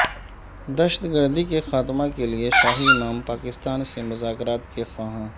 دہشت گردی کے خاتمہ کے لیے شاہی امام پاکستان سے مذاکرات کے خواہاں